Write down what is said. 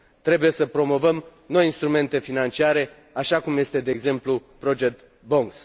Trebuie să promovăm noi instrumente financiare așa cum sunt, de exemplu, project bonds.